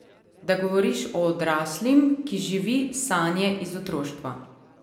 Da govoriš o odraslim, ki živi sanje iz otroštva.